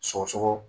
Sɔgɔsɔgɔ